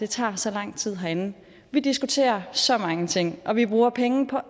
tager så lang tid herinde vi diskuterer så mange ting og vi bruger penge på